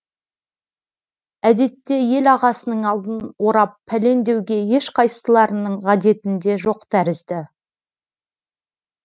әдетте ел ағасының алдын орап пәлен деуге ешқайсыларының ғадетінде жоқ тәрізді